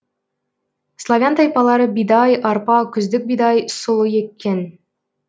славян тайпалары бидай арпа күздік бидай сұлы еккен